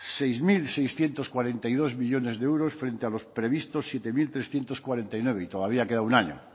seis mil seiscientos cuarenta y dos millónes de euros frente a los previstos siete mil trescientos cuarenta y nueve y todavía queda un año